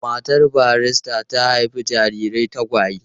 Matar barista ta haifi jarirai tagwaye.